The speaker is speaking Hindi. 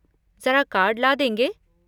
ज़रा कार्ड ला देंगे?